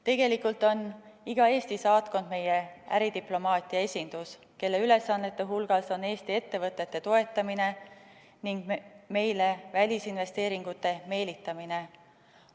Tegelikult on iga Eesti saatkond meie äridiplomaatia esindus, kelle ülesannete hulgas on Eesti ettevõtete toetamine ning meile välisinvesteeringute meelitamine.